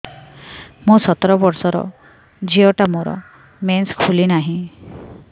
ମୁ ସତର ବର୍ଷର ଝିଅ ଟା ମୋର ମେନ୍ସେସ ଖୁଲି ନାହିଁ